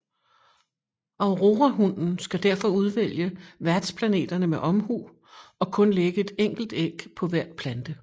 Aurorahunnen skal derfor udvælge værtsplanterne med omhu og kun lægge et enkelt æg på hver plante